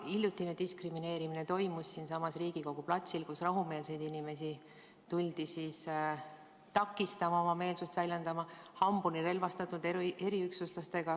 Hiljutine diskrimineerimine toimus siinsamas Riigikogu platsil, kui rahumeelseid inimesi, kes oma meelsust väljendasid, tuldi takistama hambuni relvastatud eriüksuslastega.